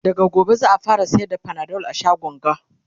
daga gobe za'a fara sayar da Panadol a shagon ga